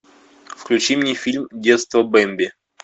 включи мне фильм детство бемби